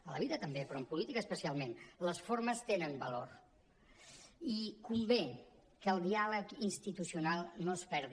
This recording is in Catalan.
a la vida també però en política especialment les formes tenen va·lor i convé que el diàleg institucional no es perdi